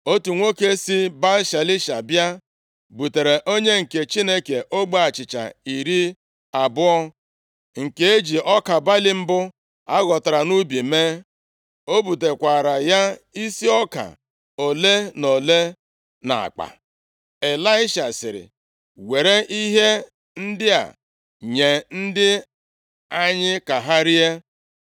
Otu nwoke si Baal-Shalisha bịa, butere onye nke Chineke ogbe achịcha iri abụọ nke e ji ọka balị mbụ a ghọtara nʼubi mee. O butekwaara ya isi ọka ole na ole nʼakpa. Ịlaisha sịrị, “Were ihe ndị a nye ndị anyị ka ha rie.”